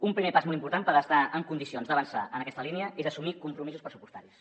un primer pas molt important per estar en condicions d’avançar en aquesta línia és assumir compromisos pressupostaris